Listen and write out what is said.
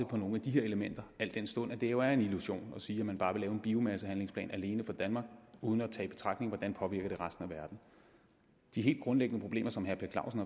på nogle af de her elementer al den stund det jo er en illusion at sige at man bare vil lave en biomassehandlingsplan alene for danmark uden at tage i betragtning hvordan den påvirker resten af verden de helt grundlæggende problemer som herre per clausen